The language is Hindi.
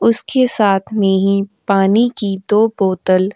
उसके साथ में ही पानी की दो बोतल --